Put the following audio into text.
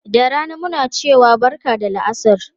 Da rana muna cewa barka da la'asar.